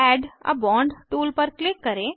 add a bond tool पर click करें